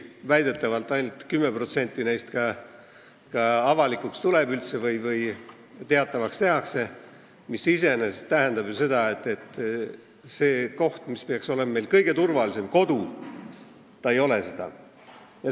Väidetavalt tuleb ainult 10% neist kuritegudest üldse avalikuks või tehakse teatavaks, mis iseenesest tähendab, et kodu, see koht, mis peaks olema kõige turvalisem, ei ole seda.